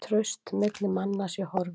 Traust milli manna sé horfið